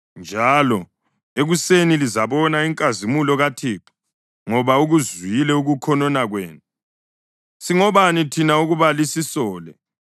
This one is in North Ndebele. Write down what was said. njalo ekuseni lizabona inkazimulo kaThixo ngoba ukuzwile ukukhonona kwenu. Singobani thina ukuba lisisole?”